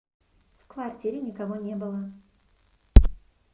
в квартире никого не было